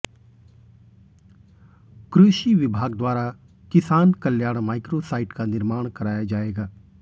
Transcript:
कृषि विभाग द्वारा किसान कल्याण माइक्रो साइट का निर्माण कराया जाएगा